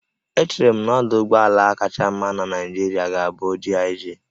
Echere m na ọdụ ụgbọ ala kacha mma na Naịjirịa ga-abụ GIG